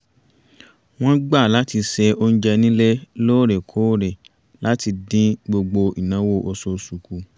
wọ́n gbà láti se oúnjẹ nílé lóòrèkóòrè láti dín gbogbo ìnáwó oṣooṣù kù